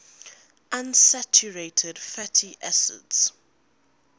unsaturated fatty acids